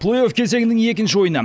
плей офф кезеңінің екінші ойыны